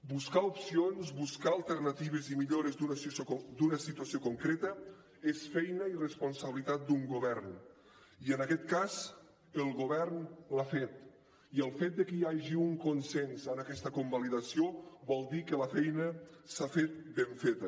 buscar opcions buscar alternatives i millores d’una situació concreta és feina i responsabilitat d’un govern i en aquest cas el govern ho ha fet i el fet de que hi hagi un consens en aquesta convalidació vol dir que la feina s’ha fet ben feta